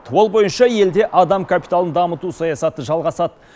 ол бойынша елде адам капиталын дамыту саясаты жалғасады